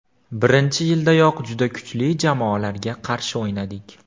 Birinchi yildayoq juda kuchli jamoalarga qarshi o‘ynadik.